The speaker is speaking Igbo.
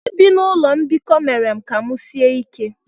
Ibi na ụlọ mbikọ mere ka m sie ike.